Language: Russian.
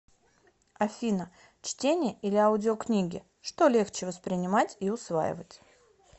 афина чтение или аудиокнигичто легче воспринимать и усваивать